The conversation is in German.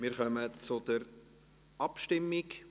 Wir kommen zur Abstimmung.